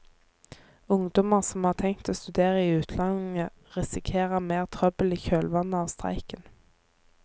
Ungdommer som har tenkt å studere i utlandet risikerer mer trøbbel i kjølvannet av streiken.